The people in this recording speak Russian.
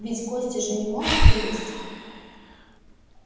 ведь кости же не могут вылезти